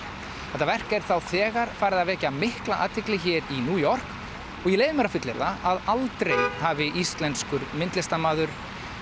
þetta verk er þá þegar farið að vekja mikla athygli hér í New York og ég leyfi mér að fullyrða að aldrei hafi íslenskur myndlistarmaður